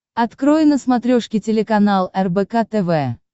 открой на смотрешке телеканал рбк тв